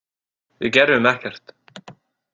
Við gerðum ekkert.